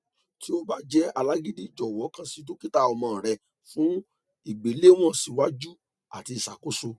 ti o ba jẹ alagidi jọwọ kan si dokita ọmọ rẹ fun igbelewọn siwaju ati iṣakoso